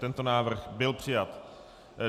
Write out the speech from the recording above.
Tento návrh byl přijat.